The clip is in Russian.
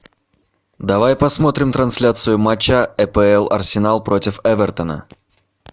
давай посмотрим трансляцию матча апл арсенал против эвертона